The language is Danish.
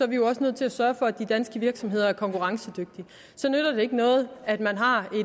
vi jo også nødt til at sørge for at de danske virksomheder er konkurrencedygtige så nytter det ikke noget at man har